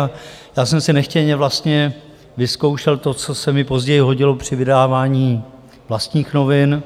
A já jsem si nechtěně vlastně vyzkoušel to, co se mi později hodilo při vydávání vlastních novin,